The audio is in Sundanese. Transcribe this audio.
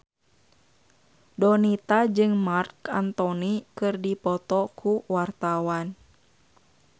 Donita jeung Marc Anthony keur dipoto ku wartawan